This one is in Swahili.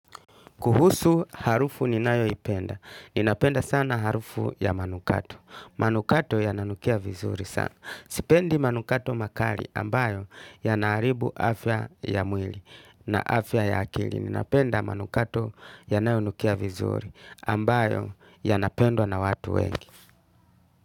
Kuhusu harufu ninayoipenda. Ninapenda sana harufu ya manukato. Manukato yananukia vizuri sana. Sipendi manukato makali ambayo yanaharibu afya ya mwili na afya ya akili. Ninapenda manukato yanayonukia vizuri ambayo yanapendwa na watu wengi.